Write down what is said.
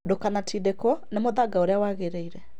Ndũkanatindĩkwo nĩ mũthanga ũrĩa wagĩrĩire